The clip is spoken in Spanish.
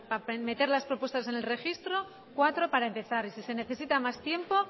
para meter las respuestas en el registro cuatro para empezar y si se necesita mas tiempo